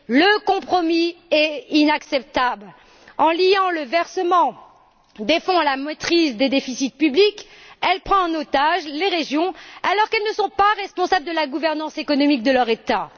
Le compromis est inacceptable. En liant le versement des fonds à la maîtrise des déficits publics, elle prend en otage les régions, alors qu'elles ne sont pas responsables de la gouvernance économique de leur État.